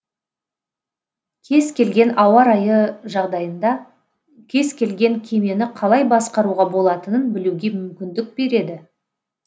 кез келген ауа райы жағдайында кез келген кемені қалай басқаруға болатынын білуге мүмкіндік береді